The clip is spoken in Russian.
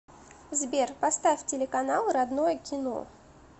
сбер поставь телеканал родное кино